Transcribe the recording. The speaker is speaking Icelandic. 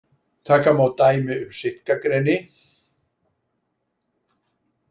Taka má dæmi um sitkagreni.